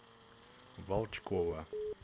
волчкова